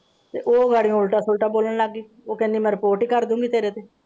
ਤੇ ਇਹ ਬੜੇ ਉਲਟਾ ਪੁਲਟਾ ਬੋਲਣ ਲੱਗ ਗਏ ਉਹ ਕਹਿੰਦੀ ਮੈਂ ਰਿਪੋਰਟ ਕਰ ਦਊਂਗੀ ਤੇਰੇ ਤੇ।